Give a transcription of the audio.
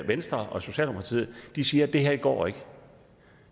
venstre og socialdemokratiet siger at det her ikke går